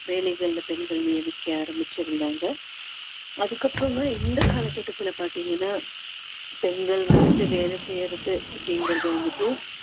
வேலைகளில பெண்கள் நியமிக்க ஆரம்பிச்சுருந்தாங்க அதுக்கப்புறமா இந்த காலகட்டத்தில் பார்த்தீங்கன்னா பெண்கள் வந்துட்டு வேலை செய்யுறது அப்படிங்கறது வந்துட்டு